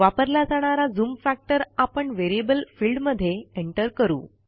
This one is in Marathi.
वापरला जाणारा झूम फॅक्टर आपणVariable फिल्डमध्ये एंटर करू